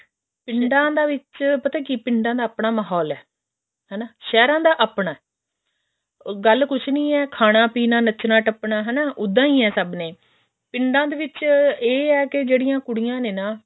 ਪਿੰਡਾਂ ਦੇ ਵਿੱਚ ਪਤਾ ਕੀ ਪਿੰਡਾਂ ਦਾ ਆਪਣਾ ਮਾਹੋਲ ਹੈ ਹਨਾ ਸਹਿਰਾਂ ਦਾ ਆਪਣਾ ਗੱਲ ਕੁਛ ਨੀ ਹੈ ਖਾਣਾ ਪੀਣਾ ਨੱਚਣਾ ਟੱਪਣਾ ਹਨਾ ਉੱਦਾਂ ਹੀ ਹੈ ਸਭ ਨੇ ਪਿੰਡਾਂ ਦੇ ਵਿੱਚ ਹੈ ਜਿਹੜੀਆਂ ਕੁੜੀਆਂ ਨੇ ਨਾ